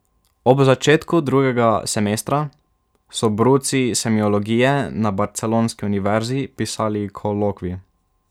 Ob začetku drugega semestra so bruci semiologije na barcelonski univerzi pisali kolokvij.